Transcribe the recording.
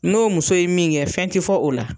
N'o muso ye min kɛ fɛn ti fɔ o la